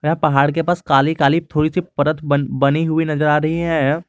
यहाँ पहाड़ के पास काली काली थोड़ी सी परत बन बनी हुई नजर आ रही है।